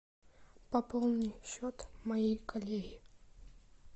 пополни счет моей коллеги